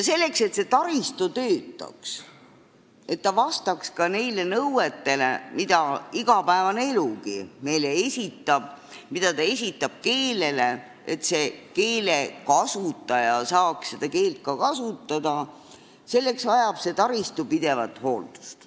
Selleks, et see taristu töötaks, et ta vastaks neile nõuetele, mida igapäevane elugi meile esitab – mida ta esitab keelele, et keelekasutaja saaks seda keelt ka kasutada –, vajab ta pidevalt hooldust.